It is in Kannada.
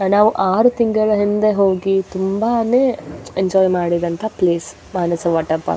ನಾವು ಆರು ತಿಂಗಳು ಹಿಂದೆ ಹೋಗಿ ತುಂಬಾನೇ ಎಂಜಾಯ್ ಮಾಡಿದಂತಹ ಪ್ಲೇಸ್ ಮಾನಸ ವಾಟರ್ ಪಾರ್ಕ್ --